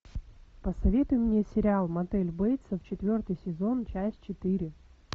посоветуй мне сериал мотель бейтсов четвертый сезон часть четыре